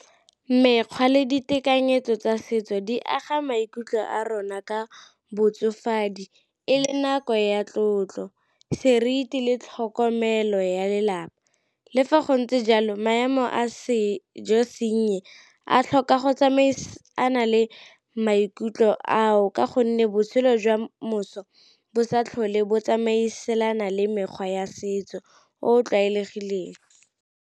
Mekgwa le ditekanyetso tsa setso di aga maikutlo a rona ka botsofadi e le nako ya tlotlo, seriti le tlhokomelo ya lelapa. Le fa go ntse jalo maemo a sejo se nnye a tlhoka go tsamaisana le maikutlo ao ka gonne botshelo jwa moso bo sa tlhole bo tsamaisana le mekgwa ya setso o o tlwaelegileng.